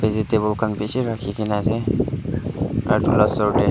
vegetable khan bi bishi rakhi kina ase aro etu la store dae--